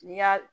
N'i y'a